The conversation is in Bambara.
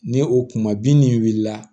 Ni o kuma bin nin wulila